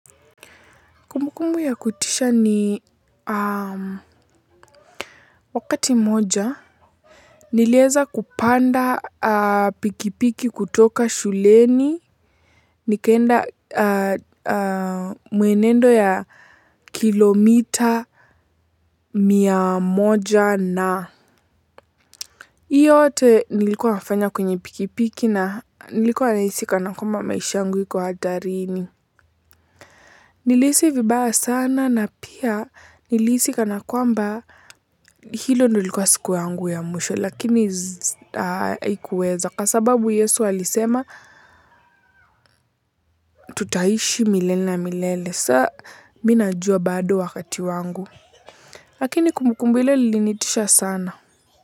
Kumbukumbu ya kutisha ni wakati mmoja, nilieza kupanda pikipiki kutoka shuleni, nikaenda mwenendo ya kilomita mia moja na hiyo yote nilikuwa nafanya kwenye pikipiki na nilikuwa nahisi kana kwamba maisha yangu iko hatarini. Nilihisi vibaya sana na pia nilihisi kana kwamba hilo ndio ilikuwa siku yangu ya mwisho lakini haikuweza kwa sababu Yesu alisema tutaishi milele na milele sasa mimi najua bado wakati wangu lakini kumbu kumbu ile ilinitisha sana.